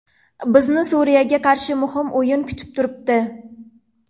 Bizni Suriyaga qarshi muhim o‘yin kutib turibdi.